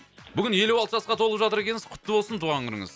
бүгін елу алты жасқа толып жатыр екенсіз құтты болсын туған күніңіз